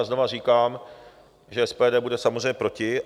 A znova říkám, že SPD bude samozřejmě proti.